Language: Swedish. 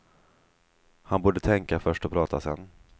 Han borde tänka först och prata sedan.